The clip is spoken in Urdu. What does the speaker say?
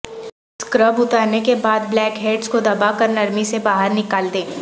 اسکرب اتارنے کے بعد بلیک ہیڈز کو دبا کر نرمی سےباہر نکال دیں